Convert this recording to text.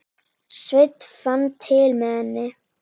Sveinn fann til með henni.